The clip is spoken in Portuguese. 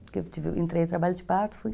Porque eu entrei no trabalho de parto, fui.